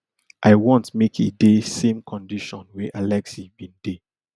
i want make e dey same condition wey alexei bin dey